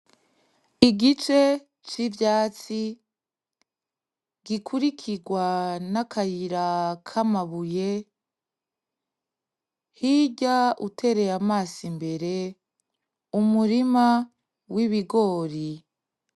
Igice c'ivyatsi, gikurikirwa n'akayira k'amabuye, hirya utereye amaso imbere umurima w'ibigori.